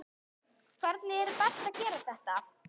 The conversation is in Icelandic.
Hvernig er best að gera þetta?